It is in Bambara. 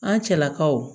An cɛlakaw